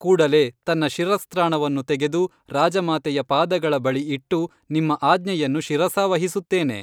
ಕೂಡಲೇ ತನ್ನ ಶಿರಸ್ತ್ರಾಣವನ್ನು ತೆಗೆದು ರಾಜಮಾತೆಯ ಪಾದಗಳ ಬಳಿ ಇಟ್ಟು ನಿಮ್ಮ ಆಜ್ಞೆಯನ್ನು ಶಿರಸಾವಹಿಸುತ್ತೇನೆ